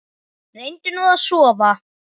Reyndu nú að sofna.